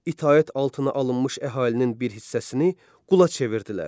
İtaət altına alınmış əhalinin bir hissəsini qula çevirdilər.